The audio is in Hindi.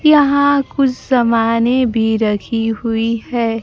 यहां कुछ समाने भी रखी हुई हैं।